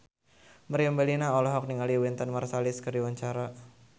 Meriam Bellina olohok ningali Wynton Marsalis keur diwawancara